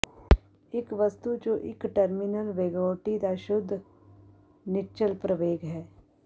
ਇੱਕ ਵਸਤੂ ਜੋ ਇੱਕ ਟਰਮੀਨਲ ਵਗੇਉਟੀ ਦਾ ਸ਼ੁੱਧ ਨਿੱਚਲ ਪ੍ਰਵੇਗ ਹੈ